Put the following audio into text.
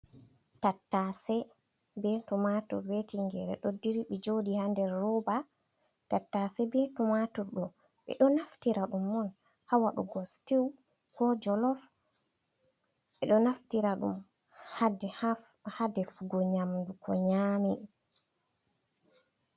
Tattase be tumatur ɓe tingere ɗo dirbi joɗi ha nder roba, tattase be tumatur ɗo ɓeɗo naftira ɗum on ha waɗugo stew ko jolof ɓeɗo naftira ɗum ha defugo nyamdu ko nyami.